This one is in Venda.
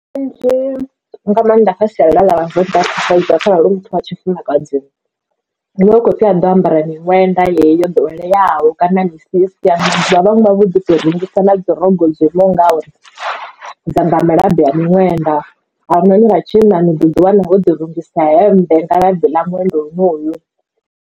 Kanzhi nga maanḓa kha sialala ḽa vhavenḓa kharali hu muthu wa tshifumakadzi hu vha hu khou pfhi a ḓe o ambara miṅwenda heneyi yo doweleaho kana misisi ano maḓuvha vhaṅwe vha vhoto rungisa na dzi rogo dzo imaho ngauri dza nga malabi ya miṅwenda avha noni vha tshinna ni ḓo ḓi wana vho ḓi rungisa hemmbe nga labi ḽa nwenda honoyu.